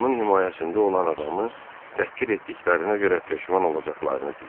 Onun himayəsində olan adamı təhqir etdiklərinə görə peşman olacaqlarını deyib.